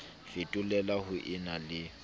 fetolela ho e na le